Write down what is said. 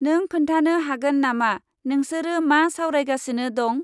नों खोन्थानो हागोन नामा नोंसोरो मा सावरायगासिनो दं?